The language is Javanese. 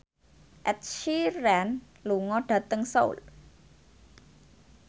Ed Sheeran lunga dhateng Seoul